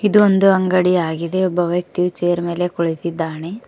ಇದು ಒಂದು ಅಂಗಡಿಯಾಗಿದೆ ಒಬ್ಬ ವ್ಯಕ್ತಿಯು ಚೇರ್ ಮೇಲೆ ಕುಳಿತಿದ್ದಾನೆ.